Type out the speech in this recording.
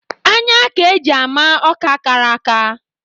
Anya ka e ji ama Ọka kara aka